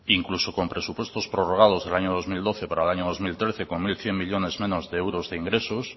incluso con presupuestos prorrogados en el año dos mil doce para el año dos mil trece cuando hay cien millónes menos de euros de ingresos